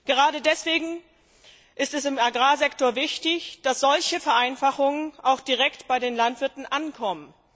Gerade deswegen ist es im Agrarsektor wichtig, dass solche Vereinfachungen auch direkt bei den Landwirten ankommen.